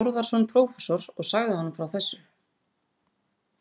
Þórðarson prófessor og sagði honum frá þessu.